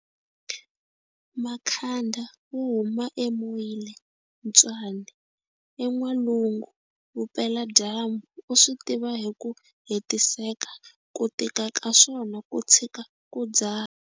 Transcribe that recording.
Makhanda wo huma eMoiletswane eN'walungu Vupeladyambu u swi tiva hi ku hetiseka ku tika ka swona ku tshika ku dzaha.